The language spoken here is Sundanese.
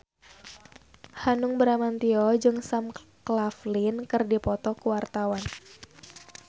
Hanung Bramantyo jeung Sam Claflin keur dipoto ku wartawan